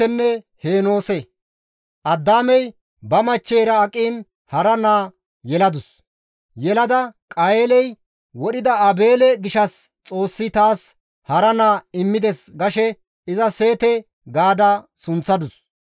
Addaamey ba machcheyra aqiin hara naa yeladus. Yelada «Qayeeley wodhida Aabeele gishshas Xoossi taas hara naa immides» gashe iza Seete gaada sunththadus.